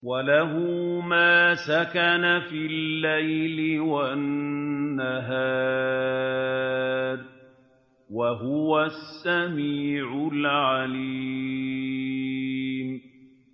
۞ وَلَهُ مَا سَكَنَ فِي اللَّيْلِ وَالنَّهَارِ ۚ وَهُوَ السَّمِيعُ الْعَلِيمُ